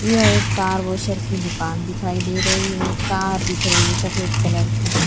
यह एक car washer की दुकान दिखई दे रही है कार दिख रही है सफेद कलर की।